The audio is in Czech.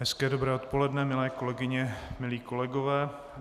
Hezké dobré odpoledne, milé kolegyně, milí kolegové.